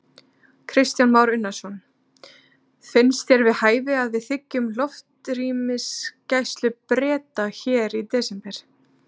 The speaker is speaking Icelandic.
Kristján Már Unnarsson: Finnst þér við hæfi að við þiggjum loftrýmisgæslu Breta hér í desember?